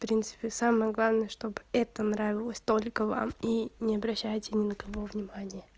принципы самое главное чтобы это нравилось только вам и не обращая ни на кого внимания